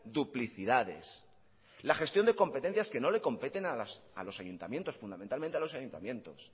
duplicidades la gestión de competencias que no le competen a los ayuntamientos fundamentalmente a los ayuntamientos